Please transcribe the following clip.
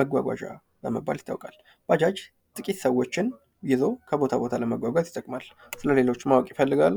መጓጓዣ በመባል ይታወቃል። ባጃጅ ጥቂት ሰዎችን ይዞ ከቦታ ቦታ ለመጓጓዝ ይጠቅማል። ስለሌሎች ማወቅ ይፈልጋሉ?